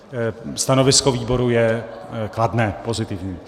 Stanovisko výboru je kladné, pozitivní.